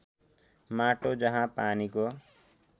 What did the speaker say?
माटो जहाँ पानीको